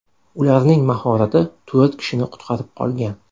Ularning mahorati to‘rt kishini qutqarib qolgan.